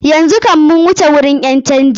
Yanzu kam mu wuce gurin ƴan canji.